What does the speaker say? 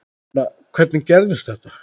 Ég meina, hvernig gerðist þetta?